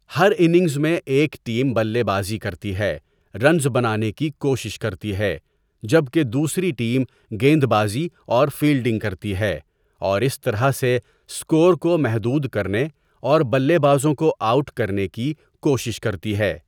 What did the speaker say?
ہر innings میں ایک team بلے بازی کرتی ہے، رنز بنانے کی کوشش کرتی ہے، جبکہ دوسری ٹیم گیندبازی اور فیلڈنگ کرتی ہے، اور اس طرح سے اسکور کو محدود کرنے اور بلے بازوں کو آؤٹ کرنے کی کوشش کرتی ہے۔